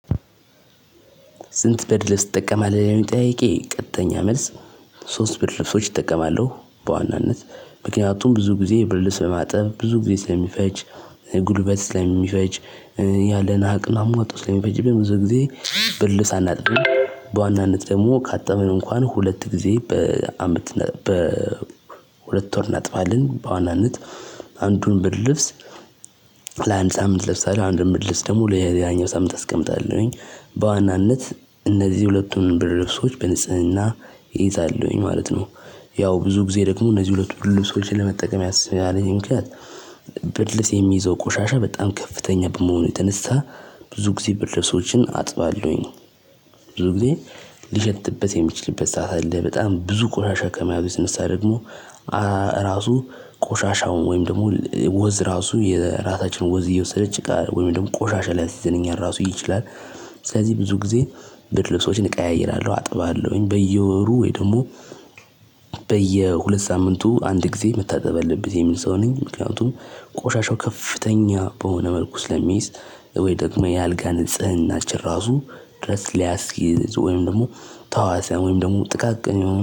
ስንት ብርድ ልብስ ትጠቀማለህ ለሚለው ጥያቄ ቀጥተኛ መልስ? ሶስት ብርድ ልብሶች እጠቀማለሁ በዋናነት ምክንያቱም ብዙ ጊዜ ብርድ ልብስ ለማጠብ ብዙ ጊዜ ስለሚፈጅ ጉልበት ስለሚፈጅ። ያለንን አቅም አሟጦ ስለሚፈጅብን ብዙውን ጊዜ ብርድ ልብስ አናጥብም። በዋናነት ደግሞ ካጠብን እንኳን ሁለት ጊዜ በአመት በሁለት ወር እናጥባለን በዋናነት አንዱን ብርድ ልብስ። ለአንድ ሳምንት እለብሳለሁ አንድ ብርድ ልብስ ደግሞ ለሌላኛው ሳምንት አስቀምጣለሁኝ በዋናነት እነዚህ ሁለቱን ብርድ ልብሶች በንጽህና እይዛለሁኝ ማለት ነው። ያው ብዙ ጊዜ ደሞእነዚህ ሁለቱን ብርድ ልብሶች ለመጠቀም ያለኝ ምክንያት። ብርድ ልብስ የሚይዘው ቆሻሻ በጣም ከፍተኛ በመሆኑ የተነሳ። ብዙ ጊዜ ብርድ ልብሶችን አጥባለሁኝ። ብዙ ጊዜ ሊሸትበት የሚችልበት ሰዓት አለ በጣም ብዙ ቆሻሻ ከመያዙ የተነሳ ደግሞ ራሱ ቆሻሻውን ወይም ደግሞ ወዝ ራሱ የራሳችንን ወዝ እየወሰደ ጭቃ ወይም ደግሞ ቆሻሻ ሊያሲዘን እኛን ራሱ ይችላል። ስለዚህ ብዙ ጊዜ ብርድ ልብሶችን እቀያይራለሁ አጥባለሁኝ በየወሩ ወይ ደግሞ። በየሁለት ሳምንቱ አንድ ጊዜ መታጠብ አለበት የሚል ሰው ነኝ ምክንያቱም ቆሻሻው ከፍተኛ በሆነ መልኩ ስለሚይዝ። ወይ ደግሞ የአልጋ ንፅህናችን ራሱ ወይም ደሞ ተህዋሲያን ጥቃቅን የሆኑ